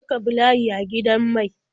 Je ka bi layi a gidan mai.